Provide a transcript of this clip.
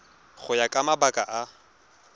go ya ka mabaka a